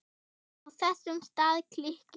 Á þessum stað klykkir